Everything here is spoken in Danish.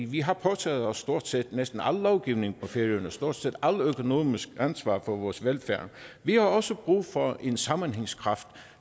vi har påtaget os stort set al lovgivning på færøerne og stort set alt økonomisk ansvar for vores velfærd vi har også brug for en sammenhængskraft